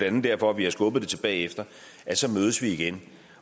andet derfor vi har skubbet det til bagefter så mødes vi igen